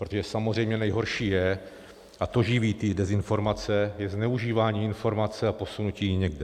Protože samozřejmě nejhorší je, a to živí ty dezinformace, je zneužívání informace a posunutí jí někam.